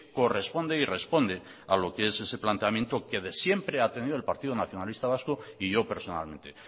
corresponde y responde a lo que es ese planteamiento que de siempre ha tenido el partido nacionalista vasco y yo personalmente